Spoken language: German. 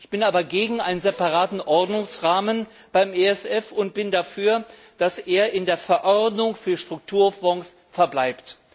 Ich bin aber gegen einen separaten Ordnungsrahmen beim ESF und bin dafür, dass er in der Verordnung für Strukturfonds verbleibt.